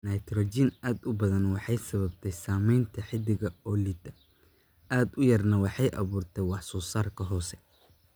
Naytaroojiin aad u badan waxay sababtaa samaynta xididka oo liita, aad u yarna waxay abuurtaa wax-soosaar hoose.